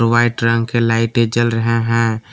White रंग की लाइटें जल रहा है।